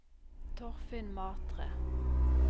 Torfinn Matre